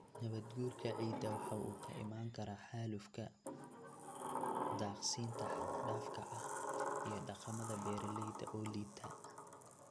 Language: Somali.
Nabaadguurka ciidda waxa uu ka iman karaa xaalufka, daaqsinta xad dhaafka ah, iyo dhaqamada beeralayda oo liita.